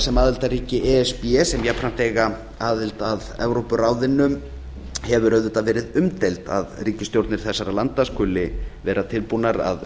sem aðildarríki e s b sem jafnframt eiga aðild að evrópuráðinu hefur auðvitað verið umdeild að ríkisstjórnir þessara landa skuli vera tilbúnar að